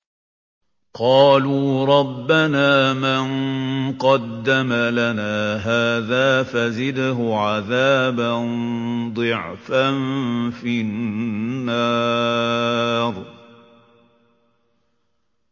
قَالُوا رَبَّنَا مَن قَدَّمَ لَنَا هَٰذَا فَزِدْهُ عَذَابًا ضِعْفًا فِي النَّارِ